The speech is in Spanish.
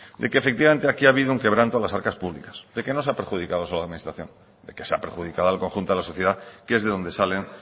de que efectivamente aquí ha habido un quebranto a las arcas públicas de que no se ha perjudicado solo a la administración de que se ha perjudicado al conjunto de la sociedad que es de donde salen